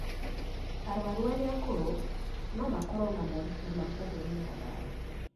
Arũaru arĩa akũrũ no makorũo na moritũ ma kũhũthĩra ndawa